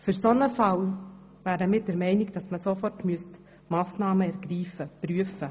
In diesem Fall müsste man unseres Erachtens sofort Massnahmen prüfen.